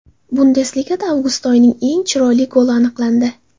Bundesligada avgust oyining eng chiroyli goli aniqlandi .